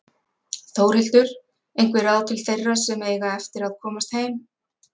Þórhildur: Einhver ráð til þeirra sem eiga eftir að komast heim?